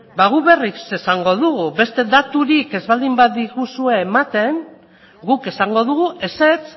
ba guk berriz esango dugu beste daturik ez baldin badiguzue ematen guk esango dugu ezetz